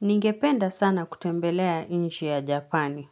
Ningependa sana kutembelea inchi ya japani.